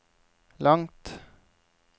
langt